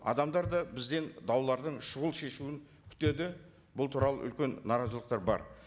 адамдар да бізден даулардың шұғыл шешуін күтеді бұл туралы үлкен наразылықтар бар